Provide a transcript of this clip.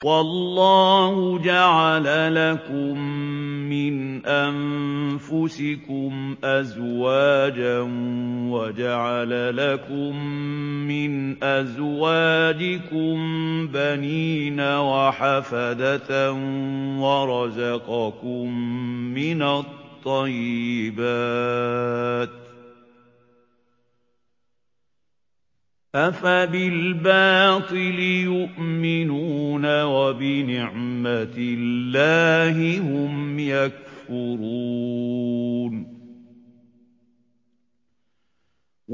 وَاللَّهُ جَعَلَ لَكُم مِّنْ أَنفُسِكُمْ أَزْوَاجًا وَجَعَلَ لَكُم مِّنْ أَزْوَاجِكُم بَنِينَ وَحَفَدَةً وَرَزَقَكُم مِّنَ الطَّيِّبَاتِ ۚ أَفَبِالْبَاطِلِ يُؤْمِنُونَ وَبِنِعْمَتِ اللَّهِ هُمْ يَكْفُرُونَ